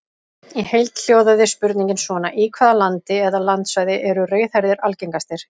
Í heild hljóðaði spurningin svona: Í hvaða landi eða landsvæði eru rauðhærðir algengastir?